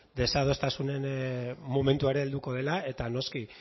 desadostasunaren momentua helduko dela eta noski